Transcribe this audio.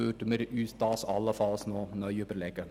Dann würden wir uns das allenfalls neu überlegen.